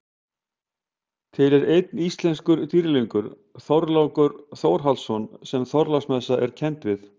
Til er einn íslenskur dýrlingur, Þorlákur Þórhallsson sem Þorláksmessa er kennd við.